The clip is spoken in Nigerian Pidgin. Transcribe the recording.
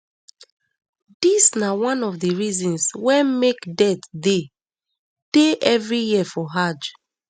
dis na one of di reasons wey make deaths dey dey every year for hajj